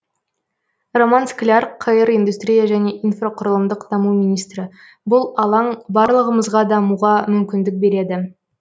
роман скляр қр индустрия және инфрақұрылымдық даму министрі бұл алаң барлығымызға дамуға мүмкіндік береді